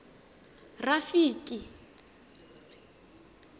rafiki